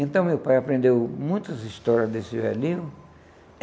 Então, meu pai aprendeu muitas histórias desse velhinho.